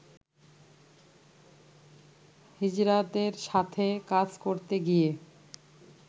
হিজড়াদের সাথে কাজ করতে গিয়ে